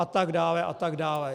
A tak dále, a tak dále.